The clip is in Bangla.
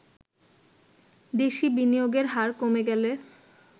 দেশি বিনিয়োগের হার কমে গেলে